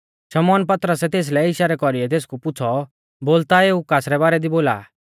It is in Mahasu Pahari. शमौन पतरसै तेस भिलै इशारै कौरीऔ तेसकु पुछ़ौ बोल ता एऊ कासरै बारै दी बोला आ